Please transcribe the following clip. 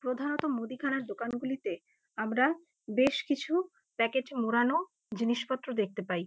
প্রধানত মুদিখানার দোকানগুলিতে আমরা বেশ কিছু প্যাকেটে মোড়ানো জিনিসপত্র দেখতে পাই।